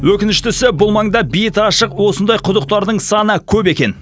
өкініштісі бұл маңда беті ашық осындай құдықтардың саны көп екен